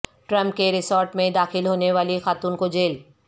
Trump کے resort میں داخل ہونے والی خاتون کو جیل